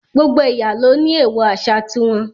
Gbogbo ẹ̀yà ló ní èèwọ̀ àṣà ti wọn